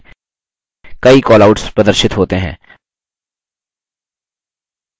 callout icon के बगल में छोटे काले त्रिकोण पर click करें